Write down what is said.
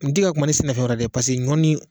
N tɛ ka kuma ni sɛnɛfɛn wɛrɛ ye dɛ ɲɔ ni